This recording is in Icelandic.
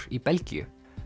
í Belgíu